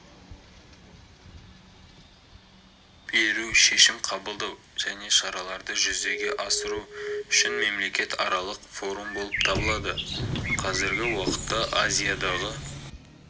беру шешім қабылдау және шараларды жүзеге асыру үшін мемлекетаралық форум болып табылады қазіргі уақытта азиядағы